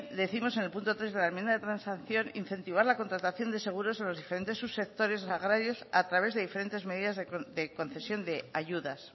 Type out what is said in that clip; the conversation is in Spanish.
décimos en el punto tres de la enmienda de transacción incentivar la contratación de seguros en los diferentes subsectores agrarios a través de diferentes medidas de concesión de ayudas